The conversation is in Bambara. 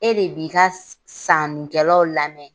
E de b'i ka sannikɛlaw lamɛn.